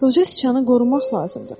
Qoca sıçanı qorumaq lazımdır.